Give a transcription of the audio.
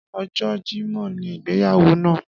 Ọjọ jẹmọ́ ni ìgbéyàwó náà